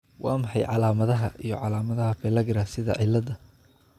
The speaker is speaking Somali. Waa maxay calaamadaha iyo calaamadaha Pellagra sida cilladda?